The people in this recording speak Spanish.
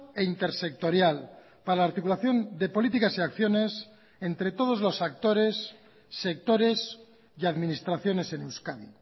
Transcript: e intersectorial para la articulación de políticas y acciones entre todos los actores sectores y administraciones en euskadi